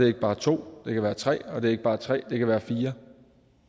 ikke bare to det kan være tre og det er ikke bare tre det kan være fire